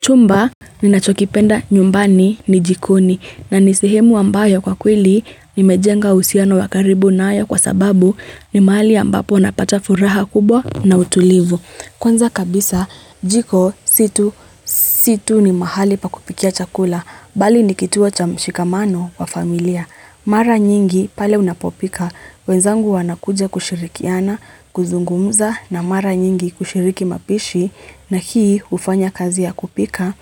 Chumba ninachokipenda nyumbani ni jikoni na nisehemu ambayo kwa kwili nimejenga usiano wakaribu na haya kwa sababu ni mahali ambapo napata furaha kubwa na utulivu. Kwanza kabisa jiko si tu si tu ni mahali pa kupikia chakula bali ni kituo chamshikamano wa familia. Mara nyingi pale unapopika, wenzangu wanakuja kushirikiana, kuzungumuza na mara nyingi kushiriki mapishi na hii ufanya kazi ya kupika